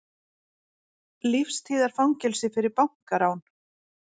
Lífstíðarfangelsi fyrir bankarán